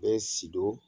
Bɛɛ sido